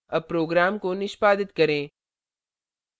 अब program को निष्पादित करें